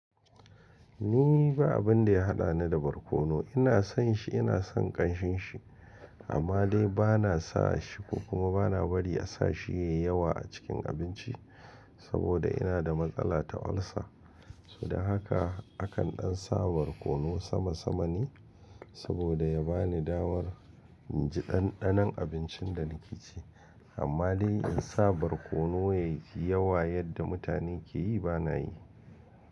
Ni ba abin da ya haɗani da barkono. Ina son shi, ina son ƙanshin shi, amma dai ba na sa shi ko kuma ba na bari a sa shi yayi yawa a cikin abinci saboda ina da matsala ta ulcer. Su da haka akan ɗan sa barkono sama sama ne saboda ya bani damar inji ɗanɗanon abincin da na ke ci. Amma dai in sa barkono yayi yawa yadda mutane ke yi ba na yi.